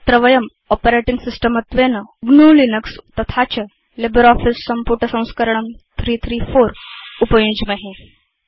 अत्र वयं operating system त्वेन ग्नु लिनक्स तथा च लिब्रियोफिस सम्पुटसंस्करणं 334 उपयुञ्ज्महे